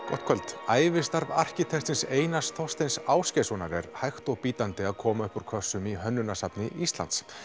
gott kvöld ævistarf arkitektsins Einars Þorsteins Ásgeirssonar er hægt og bítandi að koma upp úr kössum í hönnunarsafni Íslands